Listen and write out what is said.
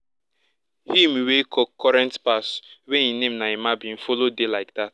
him wey current pass wey him name na emma bin follow dey like dat